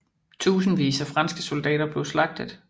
Tusindvis af franske soldater blev slagtet